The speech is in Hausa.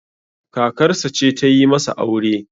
kakarsa ce ta yi masa aure